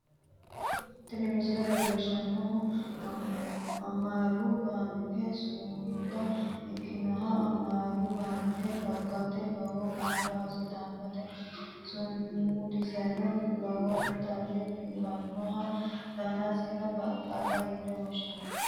Tini misile leellishshannohu amaaru baanke sumuda ikkanna, amaaru baanke dagateno lowo kaa'lo assitannote, sumudiseno lowontanni biifannoho, daniseno baqqalaho yine woahshinanni.